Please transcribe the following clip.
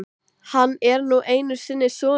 Hann er nú einu sinni sonur minn.